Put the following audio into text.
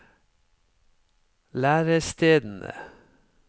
lærestedene